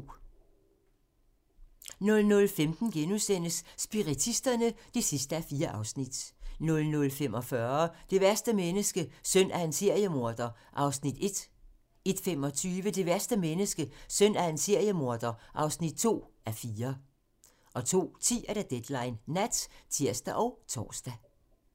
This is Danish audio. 00:15: Spiritisterne (4:4)* 00:45: Det værste menneske - søn af en seriemorder (1:4) 01:25: Det værste menneske - søn af en seriemorder (2:4) 02:10: Deadline Nat (tir og tor)